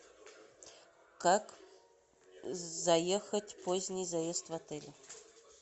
как заехать поздний заезд в отель